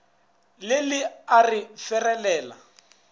le le a re ferelela